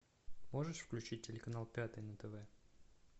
можешь включить телеканал пятый на тв